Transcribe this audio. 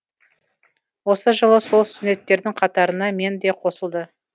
осы жылы сол студенттердің қатарына мен де қосылды